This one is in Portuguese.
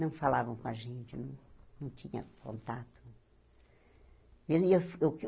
Não falavam com a gente, não não tinha contato. E eu eu